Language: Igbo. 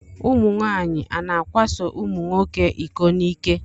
Ụmụnwaanyị a na-akwaso ụmụnwoke iko n'ike?